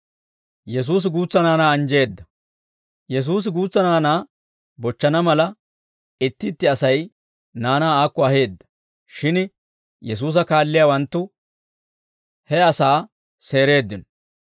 Yesuusi guutsa naanaa bochchana mala, itti itti Asay naanaa aakko aheedda; shin Yesuusa kaalliyaawanttu he asaa seereeddino.